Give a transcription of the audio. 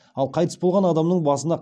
ал қайтыс болған адамның басына